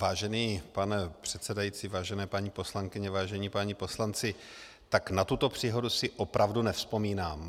Vážený pane předsedající, vážené paní poslankyně, vážení páni poslanci, tak na tuto příhodu si opravdu nevzpomínám.